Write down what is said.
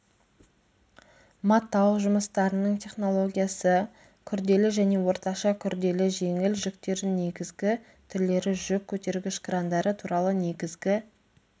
матау жұмыстарының технологиясы күрделі және орташа күрделі жеңіл жүктердің негізгі түрлері жүк көтергіш крандары туралы негізгі